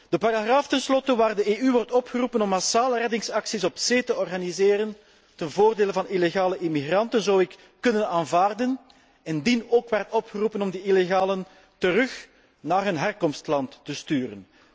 De paragraaf tenslotte waar de EU wordt opgeroepen om massale reddingsacties op zee te organiseren ten voordele van illegale immigranten, zou ik kunnen aanvaarden, indien ook werd opgeroepen om die illegalen naar hun land van herkomst terug te sturen.